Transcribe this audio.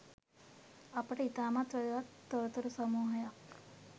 අපට ඉතාමත් වැදගත්‍ තොරතුරු සමූහයක්